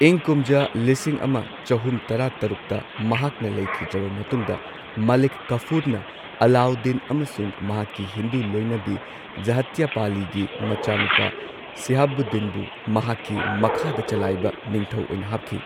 ꯏꯪ ꯀꯨꯝꯖꯥ ꯂꯤꯁꯤꯡ ꯑꯃ ꯆꯍꯨꯝ ꯇꯔꯥ ꯇꯔꯨꯛꯇ ꯃꯍꯥꯛꯅ ꯂꯩꯈꯤꯗ꯭ꯔꯕ ꯃꯇꯨꯡꯗ ꯃꯥꯂꯤꯛ ꯀꯥꯐꯨꯔꯅ ꯑꯂꯥꯎꯗꯤꯟ ꯑꯃꯁꯨꯡ ꯃꯍꯥꯛꯀꯤ ꯍꯤꯟꯗꯨ ꯂꯣꯏꯅꯕꯤ ꯓꯥꯇ꯭ꯌꯥꯄꯥꯂꯤꯒꯤ ꯃꯆꯥꯅꯨꯄꯥ ꯁꯤꯍꯥꯕꯨꯗꯤꯟꯕꯨ ꯃꯍꯥꯛꯀꯤ ꯃꯈꯥꯗ ꯆꯂꯥꯏꯕ ꯅꯤꯡꯊꯧ ꯑꯣꯏꯅ ꯍꯥꯞꯈꯤ꯫